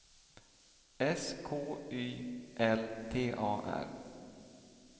S K Y L T A R